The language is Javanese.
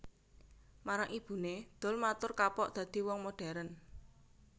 Marang ibuné Doel matur kapok dadi wong moderen